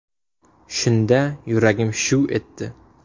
Shunda yuragim shuv etdi.